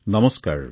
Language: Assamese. নমস্কাৰ